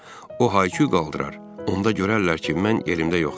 O hay-küy qaldırar, onda görərlər ki, mən yerimdə yoxam.